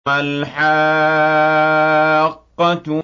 مَا الْحَاقَّةُ